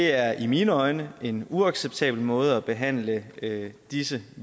er i mine øjne en uacceptabel måde at behandle disse